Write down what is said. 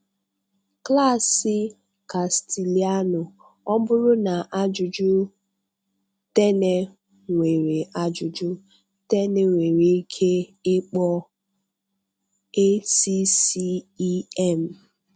Klassị Castilianụ. Ọ bụrụ na ajụjụ Tene nwere ajụjụ Tene nwere ike ịkpọ ACCEM.